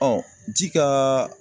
ji kaa